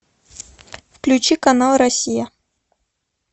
включи канал россия